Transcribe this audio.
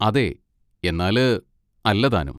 അതെ, എന്നാല് അല്ല താനും.